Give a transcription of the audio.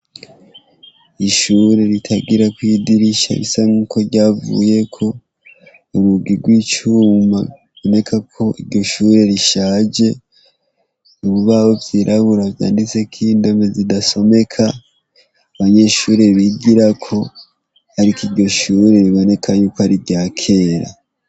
Ishure ritagirako idirisha bisa nk'uko ryavuyeko, urugi rw'icuma ruboneka ko iryo shure rishaje, ibibabo vyirabura vyanditseko indome zidasomeka abanyeshure bigirako, ariko iryo shure riboneka yuko ari rya kera.